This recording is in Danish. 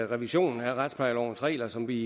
revision af retsplejelovens regler som vi